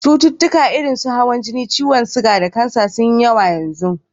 Cututtukan irin su: hawan jini, ciyon siga da kansa sun yi yawa yanzu.